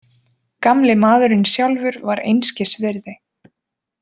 Gamli maðurinn sjálfur var einskis virði.